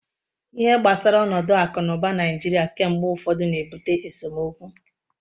ihe gbasara onodu aku na uba naijiria mgbe ufodu na-ebute esemokwu